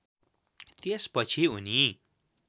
त्यस पछि उनी